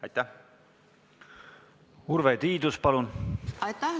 Aitäh!